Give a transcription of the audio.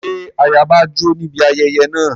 Ṣé ayaba jó níbi ayẹyẹ náà?